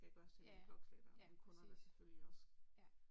Ja ja, ja, præcis. Ja